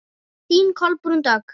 Þín Kolbrún Dögg.